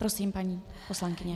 Prosím, paní poslankyně.